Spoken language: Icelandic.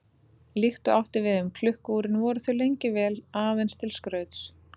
Líkt og átti við um klukku-úrin voru þau lengi vel aðeins til skrauts.